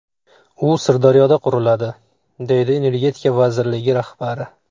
U Sirdaryoda quriladi”, deydi Energetika vazirligi rahbari.